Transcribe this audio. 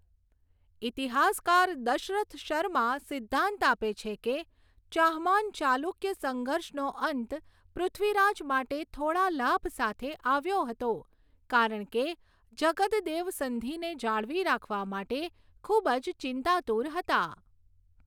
ઇતિહાસકાર દશરથ શર્મા સિદ્ધાંત આપે છે કે ચાહમાન ચાલુક્ય સંઘર્ષનો અંત પૃથ્વીરાજ માટે થોડા લાભ સાથે આવ્યો હતો, કારણ કે જગદદેવ સંધિને જાળવી રાખવા માટે ખૂબ જ ચિંતાતુર હતા.